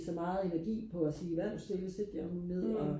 så meget energi på og sige hver nu stille sæt jer nu ned og